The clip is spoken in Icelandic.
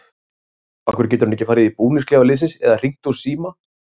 Af hverju getur hann ekki farið í búningsklefa liðsins eða hringt úr síma?